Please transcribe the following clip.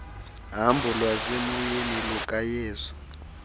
hambo lwasemoyeni lukayesu